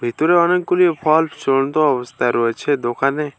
ভিতরে অনেকগুলি ভলভ ঝুলন্ত অবস্থায় রয়েছে দোকানে।